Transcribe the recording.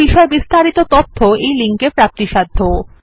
এই বিষয় বিস্তারিত তথ্য এই লিঙ্ক এ প্রাপ্তিসাধ্য